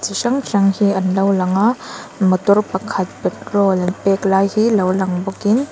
chi hrang hrang hi an lo lang a motor pakhat petrol an pêk lai hi lo lang bawkin--